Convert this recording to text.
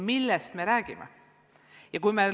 Millest me räägime?